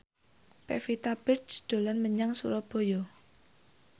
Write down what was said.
Pevita Pearce dolan menyang Surabaya